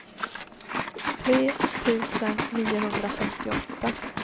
tre tusen niohundrafemtioåtta